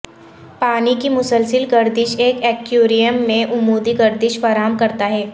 پانی کی مسلسل گردش ایک ایکویریم میں عمودی گردش فراہم کرتا ہے